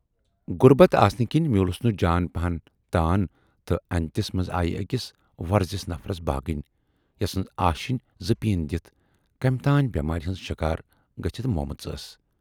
غُربت آسنہٕ کِنۍ میوٗلُس نہٕ جان پہن تان تہٕ اَندٮُ۪تس منز آیہِ ٲکِس وۅرزِس نفرس باگٕنۍ، یسٕنز آشینۍ زٕ پیٖن دِتھ کمہِ تانۍ بٮ۪مارِ ہٕنز شِکار گٔژھِتھ مۅمٕژ ٲس۔